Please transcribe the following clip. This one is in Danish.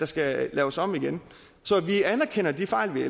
skal laves om igen så vi anerkender de fejl